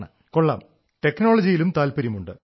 അരേ വാഹ് കൊള്ളാം ടെക്നോളജിയിലും താത്പര്യമുണ്ട്